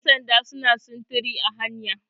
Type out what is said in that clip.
yansanda suna sintiri a hanya